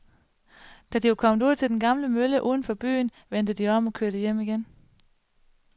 Da de var kommet ud til den gamle mølle uden for byen, vendte de om og kørte hjem igen.